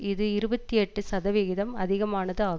இது இருபத்தி எட்டு சதவிகிதம் அதிகமானது ஆகும்